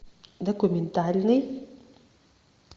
документальный